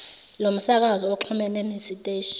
lomsakazo uxhumene nesiteshi